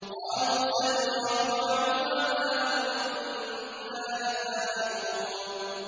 قَالُوا سَنُرَاوِدُ عَنْهُ أَبَاهُ وَإِنَّا لَفَاعِلُونَ